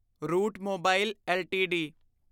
route Mobile LTD